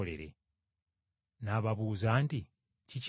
N’ababuuza nti, “Kiki ekyo?”